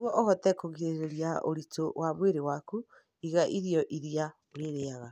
Nĩguo ũhote kũgirĩrĩria ũritũ wa mwĩrĩ waku, iga irio iria ũrĩaga.